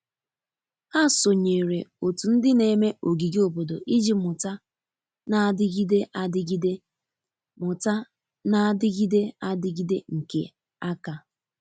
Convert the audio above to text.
Ha sonyere otu ndi na eme ogige obodo iji muta na-adigide adigide muta na-adigide adigide nke aka.